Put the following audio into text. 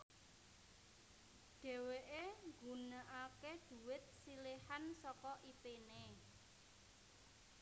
Dhéwéké nggunakaké dhuwit siléhan saka ipéné